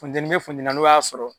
Funteni be funteni na n'u y'a sɔrɔ